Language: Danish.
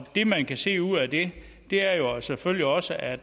det man kan se ud af det er jo selvfølgelig også at